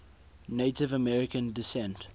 native american descent